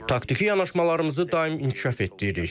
Taktiki yanaşmalarımızı daim inkişaf etdiririk.